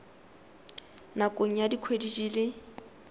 nakong ya dikgwedi di le